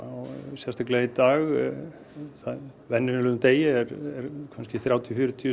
sérstaklega í dag á venjulegum degi eru kannski þrjátíu til fjörutíu